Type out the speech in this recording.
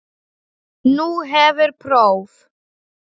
Nú hefur próf.